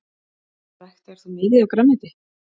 Ræktaðir þú mikið af grænmeti?